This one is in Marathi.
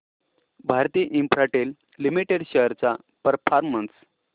भारती इन्फ्राटेल लिमिटेड शेअर्स चा परफॉर्मन्स